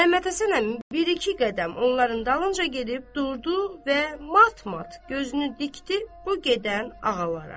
Məmmədhəsən əmi bir-iki qədəm onların dalınca gedib durdu və mat-mat gözünü dikdi bu gedən ağalara.